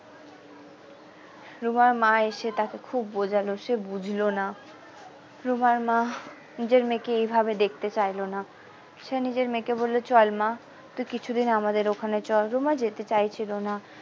রুমার মা এসে তাকে খুব বোঝালো সে বুঝল না রুমার মা নিজের মেয়েকে এই ভাবে দেখতে চাইল না সে নিজের মেয়েকে বললো চল মা তুই কিছুদিন আমাদের ওখানে চল রুমা যেতে চাইছিলো না।